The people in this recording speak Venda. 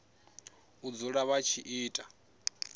u dzula vha tshi ita